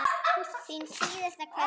Þín síðasta kveðja.